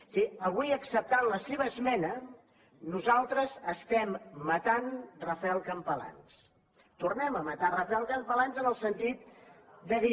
és a dir avui acceptant la seva esmena nosaltres estem matant rafael campalans tornem a matar rafael campalans en el sentit de dir